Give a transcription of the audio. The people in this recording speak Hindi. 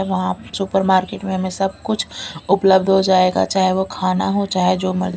वहां सुपरमार्केट में हमें सब कुछ उपलब्ध हो जाएगा चाहे वह खाना हो चाहे जो म--